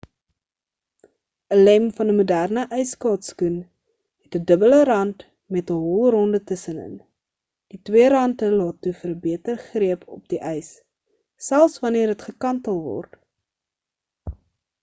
'n lem van 'n moderne ysskaatsskoen het 'n dubbele rant met 'n holronde tussen-in die twee rante laat toe vir 'n beter greep op die ys selfs wanneer dit gekantel word